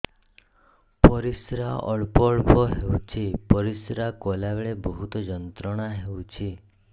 ପରିଶ୍ରା ଅଳ୍ପ ଅଳ୍ପ ହେଉଛି ପରିଶ୍ରା କଲା ବେଳେ ବହୁତ ଯନ୍ତ୍ରଣା ହେଉଛି